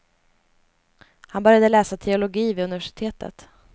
Han började läsa teologi vid universitetet.